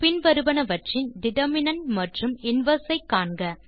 பின் வருவனவற்றின் டிட்டர்மினன்ட் மற்றும் இன்வெர்ஸ் ஐ காண்க